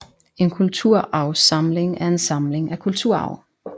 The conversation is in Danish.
En kulturarvssamling er en samling af kulturarv